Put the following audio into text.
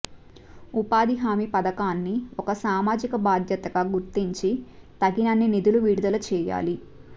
ఉపాధి హామీ పథకాన్ని ఒక సామాజిక బాధ్యతగా గుర్తించి తగినన్ని నిధులు విడుదల చేయాలి